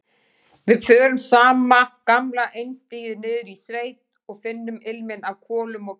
Við förum sama gamla einstigið niður í sveit og finnum ilminn af kolum og kjöti.